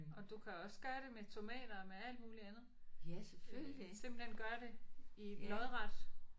Og du kan også gøre det med tomater og med alt muligt andet. Øh simpelthen gøre det i lodret